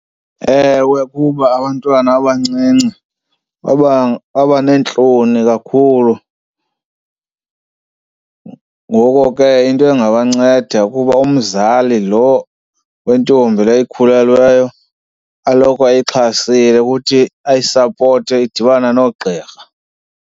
Ewe, kuba abantwana abancinci babaneentloni kakhulu, ngoko ke into engabanceda kukuba umzali lo wentombi le ikhulelweyo aloko ayixhasile ukuthi ayisapote idibane noogqirha.